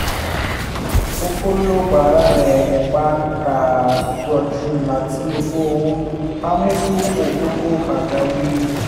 ọ̀pọ̀ ló gbára lé ẹgbẹ́ tó dájú láti fi owó pamọ́ fún àkókò pàjáwìrì